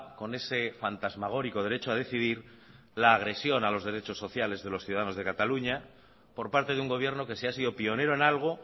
con ese fantasmagórico derecho a decidir la agresión a los derechos sociales de los ciudadanos de cataluña por parte de un gobierno que si ha sido pionero en algo